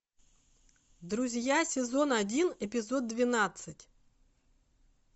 друзья сезон один эпизод двенадцать